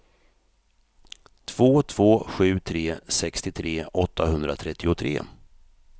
två två sju tre sextiotre åttahundratrettiotre